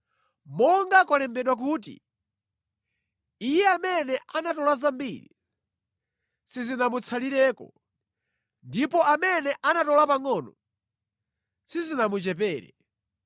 monga kwalembedwa kuti, “Iye amene anatola zambiri sizinamutsalireko ndipo amene anatola pangʼono sizinamuchepere.”